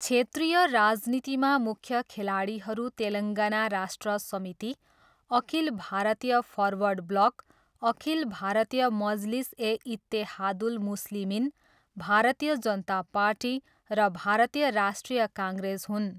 क्षेत्रीय राजनीतिमा मुख्य खेलाडीहरू Telangana Rashtra Samiti, Akhil Bharatiya Forward Bloc, Akhil Bharatiya Majlis e Ittehadul Muslimeen, Bharatiya Janata Party र भारतीय राष्ट्रिय कङ्ग्रेस हुन्।